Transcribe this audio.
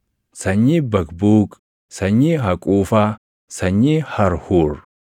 sanyii Baqbuuq, sanyii Haquufaa, sanyii Harhuur,